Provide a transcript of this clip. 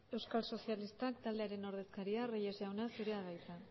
euskal sozialistak taldearen ordezkaria reyes jauna zurea da hitza